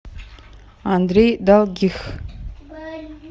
андрей долгих